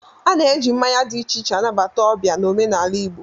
A na-eji mmanya dị iche iche anabata ọbịa n'omenala Igbo